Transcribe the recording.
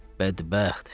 Bədbəxt!